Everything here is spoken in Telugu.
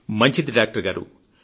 మంచిది డాక్టర్ గారూ